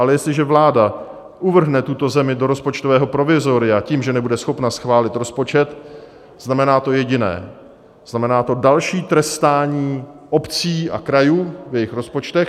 Ale jestliže vláda uvrhne tuto zemi do rozpočtového provizoria tím, že nebude schopna schválit rozpočet, znamená to jediné - znamená to další trestání obcí a krajů v jejich rozpočtech.